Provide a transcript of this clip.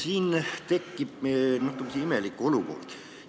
Siin tekib natuke imelik olukord.